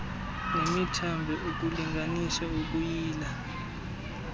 nemithambo ukulinganisa ukuyila